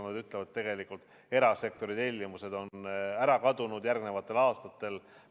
Nad ütlevad, et tegelikult on erasektori tellimused järgmisteks aastateks ära kadunud.